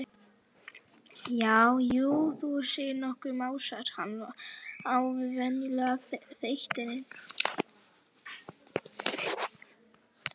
Já, jú, þú segir nokkuð, másar hann á vanalegum þeytingi.